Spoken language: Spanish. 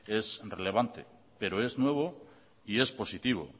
es relevante pero es nuevo y es positivo